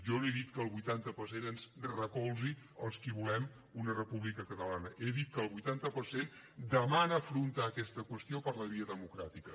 jo no he dit que el vuitanta per cent ens recolzi als qui volem una república catalana he dit que el vuitanta per cent demana afrontar aquesta qüestió per la via democràtica